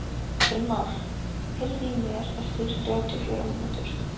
Brynmar, heyrðu í mér eftir þrjátíu og fjórar mínútur.